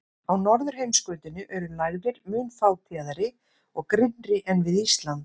Á norðurheimskautinu eru lægðir mun fátíðari og grynnri en við Ísland.